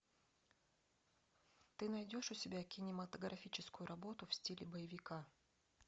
ты найдешь у себя кинематографическую работу в стиле боевика